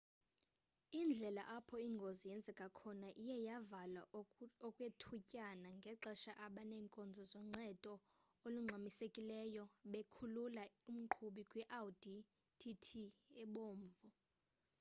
indlela apho ingozi yenzeke khona iye yavalwa okwethutyana ngexesha abeenkonzo zoncedo olungxamisekileyo bekhulula umqhubi kwi-audi tt ebomvu